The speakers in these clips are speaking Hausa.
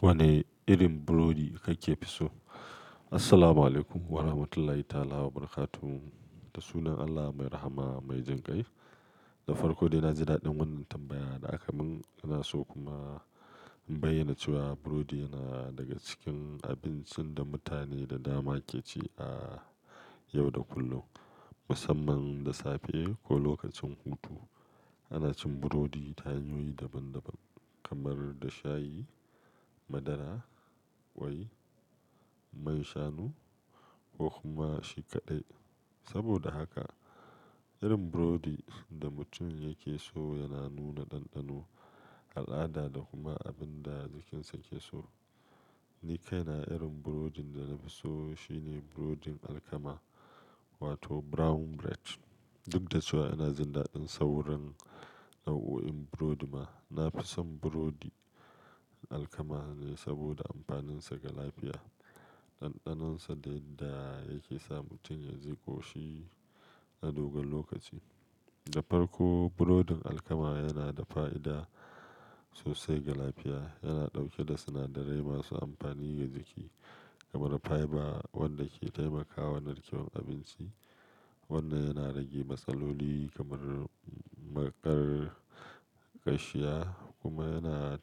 Wane irin burodi kake fi so? Assalamualaikum warahmatullahi ta'ala wabarakatuh da sunan Allah mai rahama mai jin ƙai. Da farko dai na ji daɗin wannan tambaya da aka mun. Ina so kuma in bayyana cewa burodi yana daga cikin abincin da mutane da dama ke ci a yau da kullum, musamman da safe ko lokacin hutu. Ana cin burodi ta hanyoyi daban-daban kamar da shayi, madara, ƙwai, man shanu ko kuma shikaɗai. Saboda haka irin burodin da mutum yake so yana nuna ɗanɗano, al'ada da kuma abin da jikinsa ke so. Ni kaina irin burodin da na fi so shine burodin alkama wato brown bread. Duk da cewa ina jin daɗin sauran nau'o'in burodi ma, na fi son burodi alkama ne saboda amfaninsa ga lafiya, ɗanɗanonsa da yadda yake sa mutum ya ji ƙoshi na dogon lokaci. Da farko burodin alkama yana da fa'ida sosai ga lafiya. Yana ɗauke da sinadarai masu amfani ga jiki kamar fiber wanda ke taimakawa narkewar abinci. Wannan yana rage matsaloli kamar maƙar ƙashiya kuma yana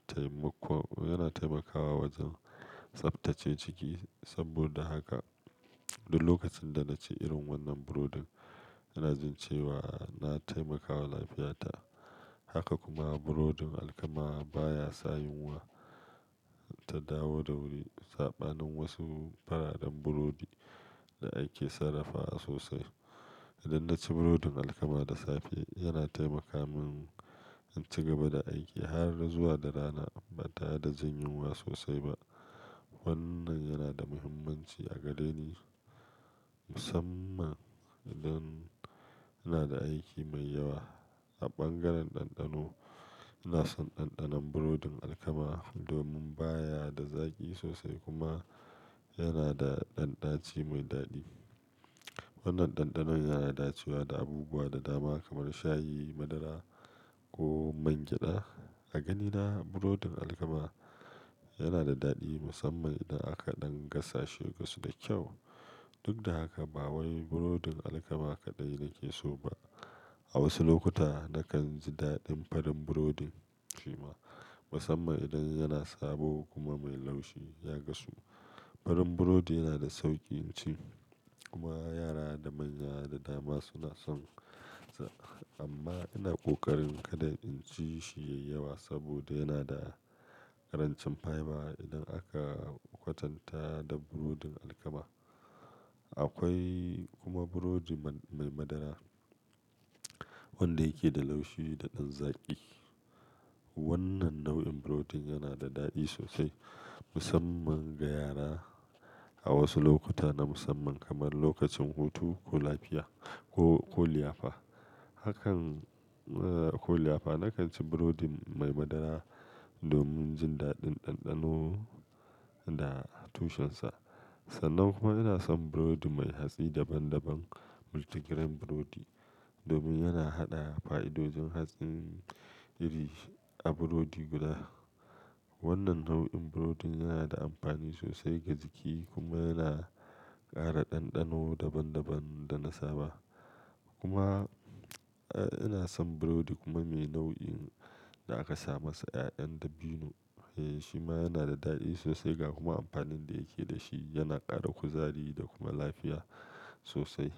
taimakawa wajen tsabtace ciki. Saboda haka duk lokacin da na ci irin wannan burodin ina jin cewa na taimakawa lafiyata. Haka kuma burodin alkama baya sa yunwa ta dawo da wuri. Saɓanin wasu fararen burodi da ake sarrafa sosai, idan na ci burodin alkama da safe yana taimaka mun in ci gaba da aiki har zuwa darana ba ta reda jin yunwa sosai ba. Wannan yana da muhimmanci a gare ni musamman idan ina da aiki mai yawa. A bangaren ɗanɗano ina son ɗanɗanon burodin alkama domin baya da zaƙi sosai kuma yana da ɗanɗaci mai daɗi. Wannan ɗanɗanon yana dacewa da abubuwa da dama kamar shayi, madara ko man gyada. A ganina burodin alkama yana da daɗi musamman idan akaɗan gasa shi gasu da kyau. Duk da haka ba wai burodin alkama kaɗai nake so ba. A wasu lokuta na kan ji daɗin farin burodin shi ma musamman idan yana sabo kuma mai laushi ya gasu. Farin burodi yana da sauƙin ci kuma yara da manya da dama suna son sa. Amma ina ƙoƙarin kada in ci shi da yawa saboda yana da karancin fiber. Idan aka kwatanta da burodin alkama akwai kuma burodi mai madara wanda yake da laushi da ɗan zaƙi. Wannan nau'in burodin yana da daɗi sosai musamman ga yara a wasu lokuta na musamman kamar lokacin hutu ko lafiya ko, ko liyafa. Hakan, eh ko liyafa na kan ci burodin mai madara domin jin daɗin ɗanɗano da tushensa. Sannan kuma ina son burodi mai hatsi daban-daban multigrain burodi domin yana haɗa fa'idodin hatsin iri a burodi guda. Wannan nau'in burodin yana da amfani sosai ga jiki kuma yana ƙara ɗanɗano daban-daban da na saba. Kuma ina son burodi kuma mai nau'in da aka sa masa ƴaƴan dabino. Eh shi ma yana da daɗi sosai ga kuma amfanin da yake da shi yana ƙara kuzari da kuma lafiya sosai.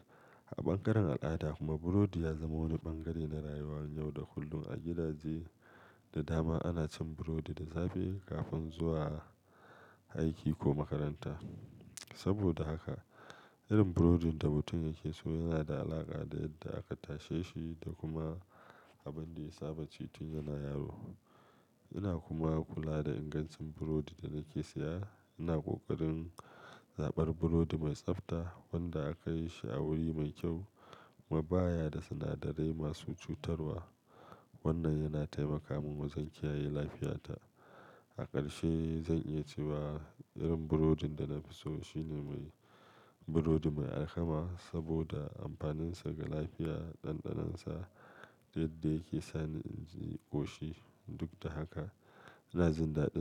A bangaren al'ada kuma burodi ya zama wani bangare na rayuwar yau da kullum. A gidaje da dama ana cin burodi da safe kafin zuwa aiki ko makaranta. Saboda haka irin burodin da mutum yake so yana da alaƙa da yadda aka tashe shi da kuma abin da ya saba ci tun yana yaro. Ina kuma kula da ingancin burodin da nake siya. Ina ƙoƙarin zaɓar burodi mai tsafta wanda aka yi shi a wuri mai kyau kuma baya da sinadarai masu cutarwa. Wannan yana taimaka mun wajen kiyaye lafiyata. Aƙarshe zan'iya cewa irin burodin da na fi so shine mai-- burodi mai alkama saboda amfaninsa ga lafiya, ɗanɗanonsa da yadda yake sani in ji ƙoshi. Duk da haka ina jin daɗin.